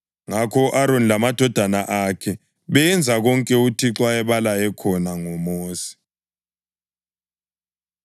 Ngakho u-Aroni lamadodana akhe benza konke uThixo ayebalaye khona ngoMosi.